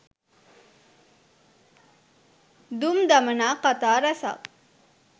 දුම් දමනා කතා ‍රැසක්